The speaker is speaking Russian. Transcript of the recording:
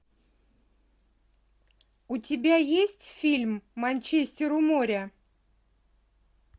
у тебя есть фильм манчестер у моря